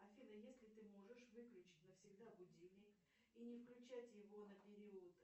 афина если ты можешь выключить навсегда будильник и не включать его на период